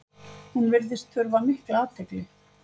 Hún virðist þurfa mikla athygli.